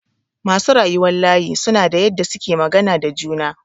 Masu rayuwan layi suna da yadda suke magana da juna.